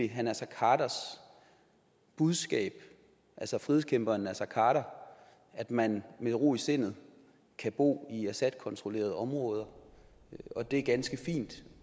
herre naser khaders budskab altså frihedskæmperen naser khader at man med ro i sindet kan bo i assadkontrollerede områder og at det er ganske fint